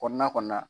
Kɔnɔna kɔni na